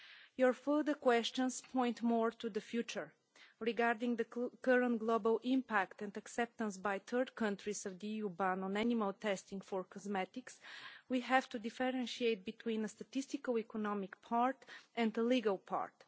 Your further questions point more to the future. Regarding the current global impact and acceptance by third countries of the EU ban on animal testing for cosmetics, we have to differentiate between a statistical economic part and a legal part.